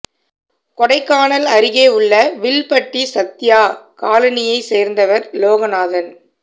கொடைக்கானல் அருகே உள்ள வில்பட்டி சத்யா காலனியைச் சோ்ந்தவா் லோகநாதன்